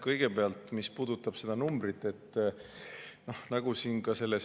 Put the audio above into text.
Kõigepealt see, mis puudutab seda.